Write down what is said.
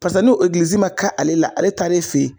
Pasa n'o egilizi ma ka ale la ale taar'e fe ye